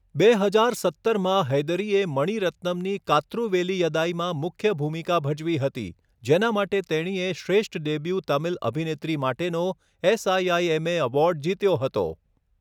બે હજાર સત્તરમાં, હૈદરીએ મણિ રત્નમની 'કાત્રુ વેલિયદાઈ' માં મુખ્ય ભૂમિકા ભજવી હતી, જેના માટે તેણીએ શ્રેષ્ઠ ડેબ્યુ તમિલ અભિનેત્રી માટેનો એસઆઈઆઈએમએ એવોર્ડ જીત્યો હતો.